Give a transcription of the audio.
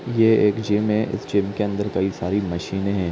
यह एक जिम है जिम के अंदर कई सारी मशीनें हैं।